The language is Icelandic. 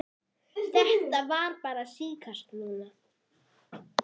Þetta er bara tíska núna.